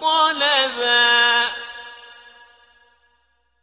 طَلَبًا